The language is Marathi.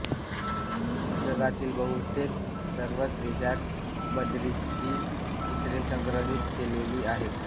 जगातील बहुतेक सर्वच देशांत बद्रींची चित्रे संग्रहित केलेली आहेत